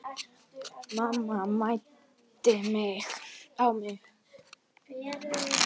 Mamma mændi á mig.